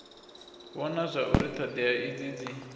vhona zwauri thodea idzi dzi